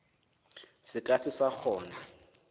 se ka se sa kgona